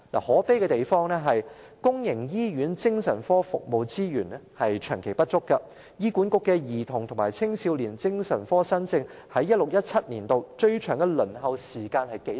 可悲的是，公營醫院精神科服務資源長期不足，醫院管理局的兒童和青少年精神科新症，在 2016-2017 年度的最長輪候時間是多少呢？